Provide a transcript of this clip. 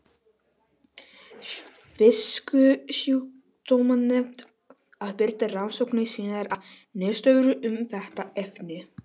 Fisksjúkdómanefnd að birta rannsóknir sínar og niðurstöður um þetta efni.